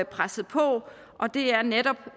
presset på og det er netop